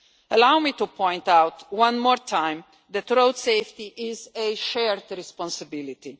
Allow me to point out one more time that road safety is a shared responsibility.